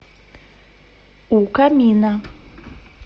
у камина